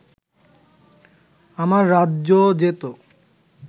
আমার রাজ্য যেত